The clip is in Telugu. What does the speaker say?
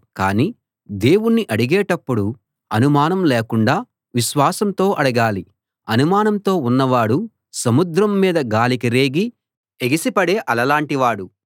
కాని దేవుణ్ణి అడిగేటప్పుడు అనుమానం లేకుండా విశ్వాసంతో అడగాలి అనుమానంతో ఉన్నవాడు సముద్రం మీద గాలికి రేగి ఎగిసిపడే అలలాంటి వాడు